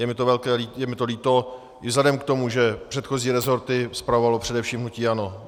Je mi to líto i vzhledem k tomu, že předchozí resorty spravovalo především hnutí ANO.